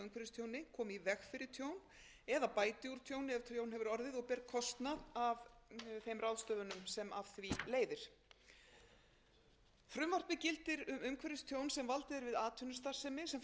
tjóni ef tjón hefur orðið og ber kostnað af þeim ráðstöfunum sem af því leiðir frumvarpið gildir um umhverfistjón sem valdið er við atvinnustarfsemi sem fellur undir annan viðauka